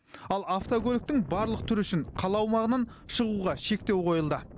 ал автокөліктің барлық түрі үшін қала аумағынан шығуға шектеу қойылды